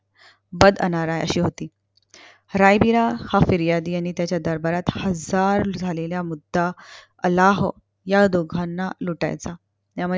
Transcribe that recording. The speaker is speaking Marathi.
बद अनाराय अशी होती. रायबीरा हा फिर्यादी यांनी त्याच्या दरबारात हजार झालेला मुद्दा आलाहो ह्या दोघांना लुटायचा.